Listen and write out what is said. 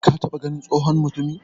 ka taba ganin tsohon mutumi?